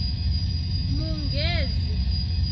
munghezi